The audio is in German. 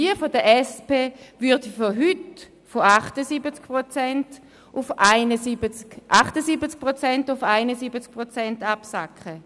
Jene der SP würde von heute 78 Prozent auf 71 Prozent absacken.